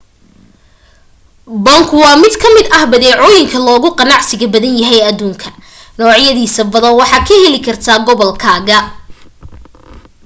bunku waa mid ka mid ah badeecooyinka loogu ganacsiga badan yahay aduunka noocyadiisa badana waxaad ka heli kartaa gobolkaaga